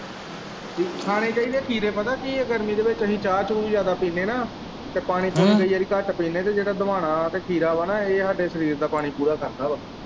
ਖਾਣੇ ਚਾਹੀਦੇ ਖੀਰੇ ਪਤਾ ਕੀ ਹੈ ਗਰਮੀ ਦੇ ਵਿੱਚ ਅਸੀਂ ਚਾਹ ਚੂਹ ਵੀ ਜਿਆਦਾ ਪੀਂਦੇ ਨਾ ਤੇ ਪਾਣੀ ਪੁਣੀ ਹਮ ਕਈ ਵਾਰੀ ਘੱਟ ਪੀਂਦੇ ਤੇ ਜਿਹੜਾ ਦੁਆਨਾ ਤੇ ਖੀਰਾ ਹੈ ਨਾ ਇਹ ਸਾਡੇ ਸਰੀਰ ਦਾ ਪਾਣੀ ਪੂਰਾ ਕਰਦਾ ਹੈ।